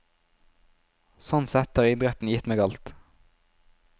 Sånn sett har idretten gitt meg alt.